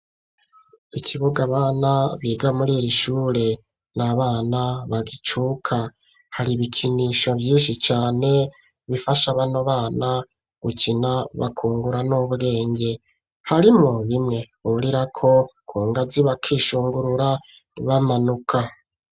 Ikibuga, abana biga muri iri shure ni abana bagicuka. Hari ibikinisho vyinshi cane bifasha bano bana gukina bakungura n'ubwenge. Harimwo bimwe burirako ku ngazi, bakishungurura bamanuka.